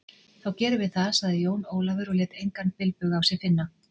Þá gerum við það, sagði Jón Ólafur og lét engan bilbug á sér finna.